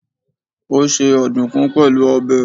Ó se ọ̀dùkún pẹ̀lú ọbẹ̀.